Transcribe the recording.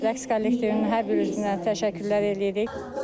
Rəqs kollektivinin hər bir üzünə təşəkkürlər eləyirik.